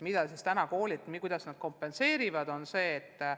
Mida siis täna koolid teevad ja kuidas nad puuduolevaid õpetajaid kompenseerivad?